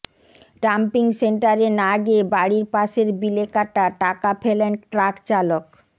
dumping সেন্টারে না গিয়ে বাড়ির পাশের বিলে কাটা টাকা ফেলেন ট্রাকচালক